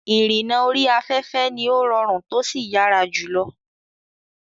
Ìrìnnà orí afẹ́fẹ́ ni ó rọrùn tósì yára jùlọ.